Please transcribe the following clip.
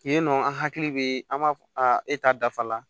Yen nɔ an hakili bɛ an b'a fɔ a e ta dafa la